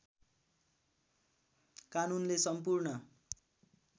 कानूनले सम्पूर्ण